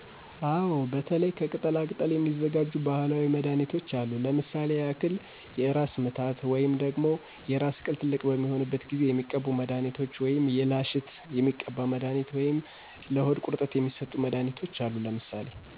አወ በተለይ ከቅጠላ ቅጠል የሚዘጋጁ ባህላዊ መድሀኒት አሉ።